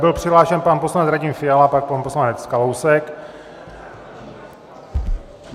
Byl přihlášen pan poslanec Radim Fiala, pak pan poslanec Kalousek.